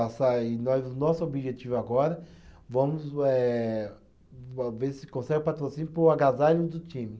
E nós, o nosso objetivo agora, vamos eh, va ver se consegue o patrocínio para o agasalho do time.